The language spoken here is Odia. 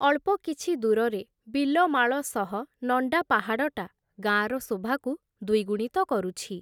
ଅଳ୍ପ କିଛି ଦୂରରେ ବିଲମାଳ ସହ, ନଣ୍ଡା ପାହାଡ଼ଟା, ଗାଁର ଶୋଭାକୁ ଦ୍ଵିଗୁଣିତ କରୁଛି ।